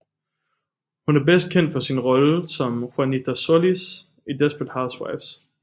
Hun er bedst kendt for sin rolle som Juanita Solis i Desperate Housewives